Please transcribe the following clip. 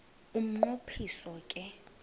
umnqo phiso ke